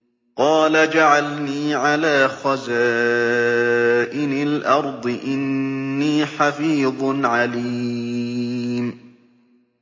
قَالَ اجْعَلْنِي عَلَىٰ خَزَائِنِ الْأَرْضِ ۖ إِنِّي حَفِيظٌ عَلِيمٌ